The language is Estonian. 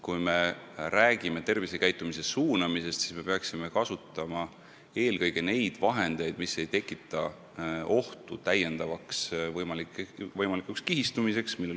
Kui me räägime tervisekäitumise suunamisest, siis me peaksime kasutama eelkõige neid vahendeid, mis ei tekita võimaliku täiendava kihistumise ohtu.